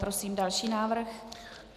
Prosím další návrh.